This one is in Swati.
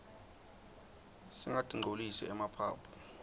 singatinqcolisi emaphaphu